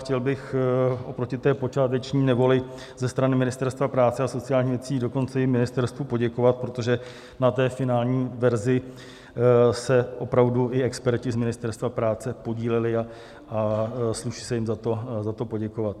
Chtěl bych oproti té počáteční nevoli ze strany Ministerstva práce a sociálních věcí dokonce i ministerstvu poděkovat, protože na té finální verzi se opravdu i experti z Ministerstva práce podíleli a sluší se jim za to poděkovat.